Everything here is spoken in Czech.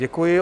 Děkuji.